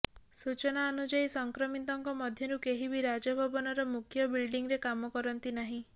ସୂଚନା ଅନୁଯାୟୀ ସଂକ୍ରମିତଙ୍କ ମଧ୍ୟରୁ କେହି ବି ରାଜଭବନର ମୁଖ୍ୟ ବିଲ୍ଡିଂରେ କାମ କରନ୍ତି ନାହିଁ